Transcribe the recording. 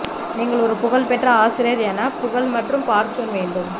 நீங்கள் ஒரு புகழ் பெற்ற ஆசிரியர் என புகழ் மற்றும் பார்ச்சூன் வேண்டும்